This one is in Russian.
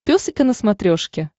пес и ко на смотрешке